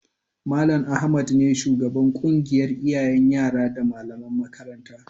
Mal. Ahmad ne shugaban ƙungiyar iyayen yara da malaman makarantar